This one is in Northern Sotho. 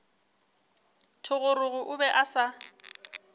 thogorogo o be a sa